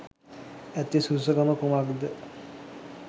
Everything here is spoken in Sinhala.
ඇති සුදුසුකම කුමක්ද